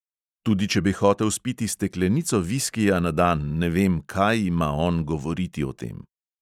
Tudi če bi hotel spiti steklenico viskija na dan, ne vem, kaj ima on govoriti o tem.